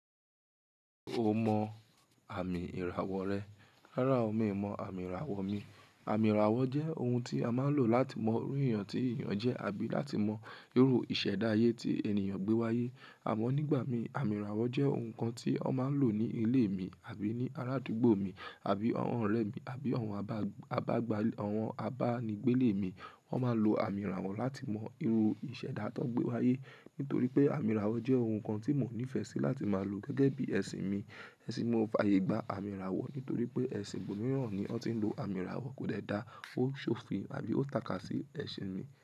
Ṣé o mọ àmì ìràwọ̀ rẹ? Rárá o, mi ò mọ àmì ìràwọ̀ mi. Àmì ìràwọ̀ jẹ́ ohun tí a máa ń lò láti mọ òru èyàn tí èyàn jẹ́ àbí láti mọ irú ìṣẹ̀dá ayé tí ènìyàn gbé wáyé. Àmọ́ nígbà mi, àmì ìràwọ̀ jẹ́ ohun kan tí wọ́n máa ń lò ní ilé mi àbí ní arádúgbò mi àbí àwọn ọ̀rẹ́ mi àbí àwọn àbá-àbágbà àwọn àbánígbélè mi. Wọ́n máa lo àmì ìràwọ̀ láti mọ irú ìṣẹ̀dá tán gbé wáyé. Nítorí pé àmì ìràwọ̀ jẹ́ ohun kan tí mò nífẹ̀ẹ́ sí láti máa lò gẹ́gẹ́ bí ẹ̀sìn mi. Ẹ̀sìn mi ò fàyègba àmì ìràwọ̀ nítorí pé ẹ̀sìn mìíràn ni wọ́n ti ń lò àmì ìràwọ̀ kò dẹ da, ó ń ṣòfin àbí ó tàka sí ẹ̀sìn mi.